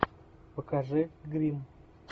покажи гримм